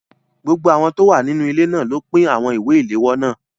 Gbogbo àwọn tó wà nínú ilé náà ló pín àwọn ìwé ìléwọ́ náà.